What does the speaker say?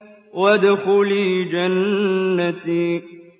وَادْخُلِي جَنَّتِي